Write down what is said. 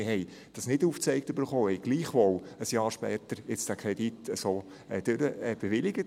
– Wir haben es nicht aufgezeigt erhalten und haben gleichwohl ein Jahr später den Kredit so bewilligt.